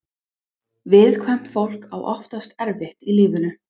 Viðkvæmt fólk á oftast erfitt í lífinu.